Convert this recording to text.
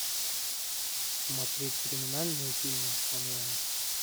смотреть криминальные фильмы онлайн